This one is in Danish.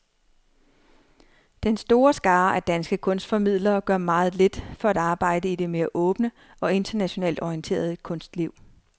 Den store skare af danske kunstformidlere gør meget lidt for at arbejde i det mere åbne og internationalt orienterede kunstliv.